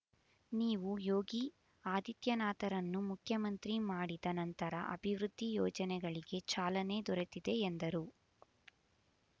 ನೀವು ಯೋಗಿ ಆದಿತ್ಯನಾಥರನ್ನು ಮುಖ್ಯಮಂತ್ರಿ ಮಾಡಿದ ನಂತರ ಅಭಿವೃದ್ಧಿ ಯೋಜನೆಗಳಿಗೆ ಚಾಲನೆ ದೊರೆತಿದೆ ಎಂದರು